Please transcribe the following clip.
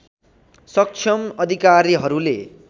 सक्षम अधिकारीहरूले